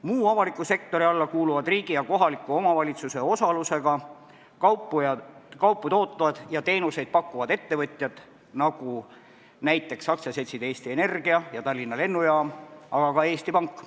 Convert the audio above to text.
Muu avaliku sektori alla kuuluvad riigi ja kohaliku omavalitsuse osalusega kaupu tootvad ja teenuseid pakkuvad ettevõtjad, nagu näiteks aktsiaseltsid Eesti Energia ja Tallinna Lennujaam, aga ka Eesti Pank.